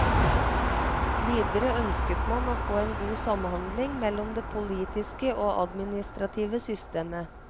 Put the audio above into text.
Videre ønsket man å få en god samhandling mellom det politiske og administrative systemet.